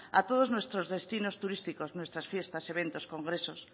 a todos nuestros destinos turísticos nuestras fiestas eventos congresos